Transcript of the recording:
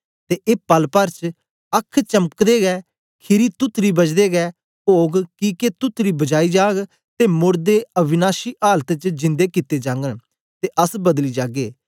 ते ए पल पर च अख चमकदै गै खीरी तुतडी बजदे गै ओग किके तुतडी बजाई जाग ते मोड़दे अविनाशी आलत च जिन्दे कित्ते जागन ते अस बदली जागे